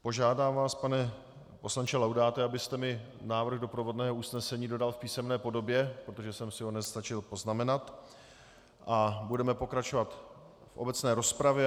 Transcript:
Požádám vás, pane poslanče Laudáte, abyste mi návrh doprovodného usnesení dodal v písemné podobě, protože jsem si ho nestačil poznamenat, a budeme pokračovat v obecné rozpravě.